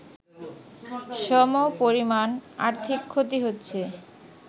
সমপরিমাণ আর্থিক ক্ষতি হচ্ছে